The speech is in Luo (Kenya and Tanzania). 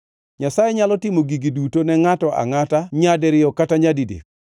“Nyasaye nyalo timo gigi duto ne ngʼato angʼata nyadiriyo kata nyadidek,